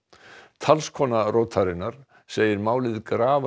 talskona rótarinnar segir málið grafa